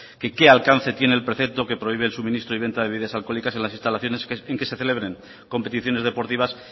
que qué alcance tiene el precepto que prohíbe el suministro y venta de bebidas alcohólicas en las instalaciones en que se celebren competiciones deportivas